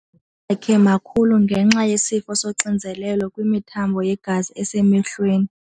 Amehlo akhe makhulu ngenxa yesifo soxinzelelo kwimithambo yegazi esemehlweni.